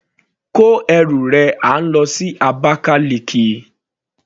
Kó ẹrù rẹ à ń lọ sí Abakaliki.